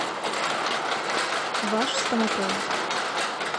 ваш стоматолог